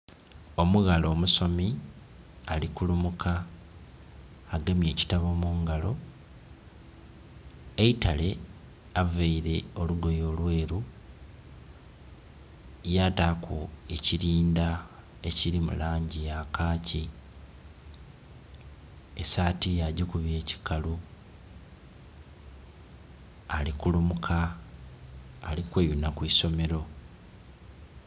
Omughala omusomi ali kurumuka agemye ekitabo mu ngalo, eitale ayambaile olugoye olweru, yataaku ekirinda ekiri mu langi eya kachi, esaati yagikuba ekikalu, ali kulumuka ali kweyuna ku isomero.